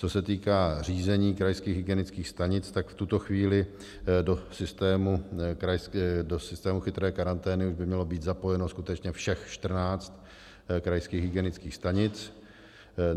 Co se týká řízení krajských hygienických stanic, tak v tuto chvíli do systému chytré karantény už by mělo být zapojeno skutečně všech 14 krajských hygienických stanic.